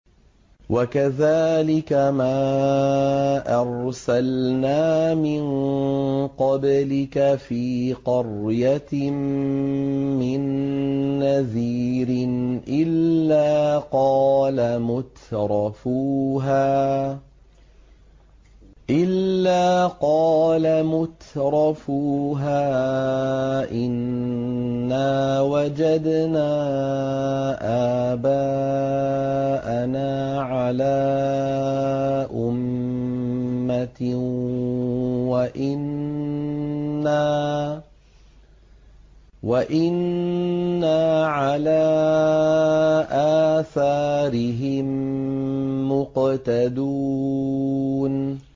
وَكَذَٰلِكَ مَا أَرْسَلْنَا مِن قَبْلِكَ فِي قَرْيَةٍ مِّن نَّذِيرٍ إِلَّا قَالَ مُتْرَفُوهَا إِنَّا وَجَدْنَا آبَاءَنَا عَلَىٰ أُمَّةٍ وَإِنَّا عَلَىٰ آثَارِهِم مُّقْتَدُونَ